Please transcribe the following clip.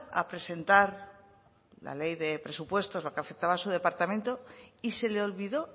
a presentar la ley de presupuestos lo que afectaba a su departamento y se le olvidó